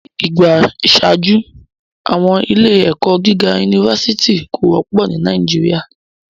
Ni igba iṣaaju, awọn ile-ẹkọ giga unifásitì ko wọpọ ni Nàìjíríà